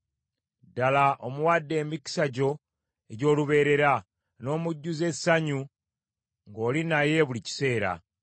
Ddala omuwadde emikisa gyo egy’olubeerera, n’omujjuza essanyu ng’oli naye buli kiseera.